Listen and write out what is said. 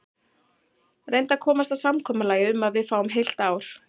Reyndu að komast að samkomulagi um að við fáum heilt ár.